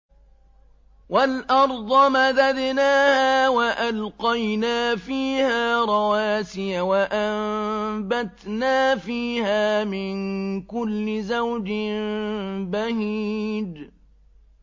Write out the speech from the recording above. وَالْأَرْضَ مَدَدْنَاهَا وَأَلْقَيْنَا فِيهَا رَوَاسِيَ وَأَنبَتْنَا فِيهَا مِن كُلِّ زَوْجٍ بَهِيجٍ